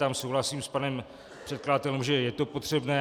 Tam souhlasím s panem předkladatelem, že je to potřebné.